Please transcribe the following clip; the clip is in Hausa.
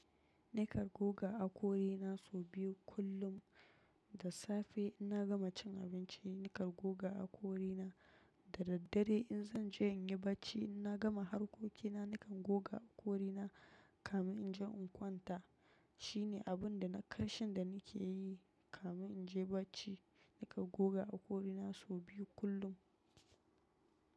Na kan goga hakorina sau biyu kullum. Da safe in na gama cin abinci na kan goga hakori na. Da daddare in zanje in yi bacci in na gama harkokina nakan goga hakori na kamin in je in kwanta shine abun da na karshe da na ke yi kamin in je barci. Ni kan goga hakori na sau biyu kullum.